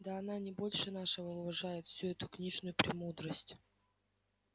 да она не больше нашего уважает всю эту книжную премудрость